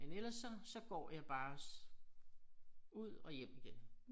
Men ellers så så går jeg bare ud og hjem igen